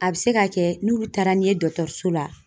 A be se ka kɛ n'olu taara n'i ye dɔgɔtɔrɔso la